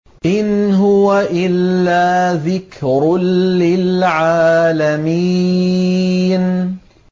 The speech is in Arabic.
إِنْ هُوَ إِلَّا ذِكْرٌ لِّلْعَالَمِينَ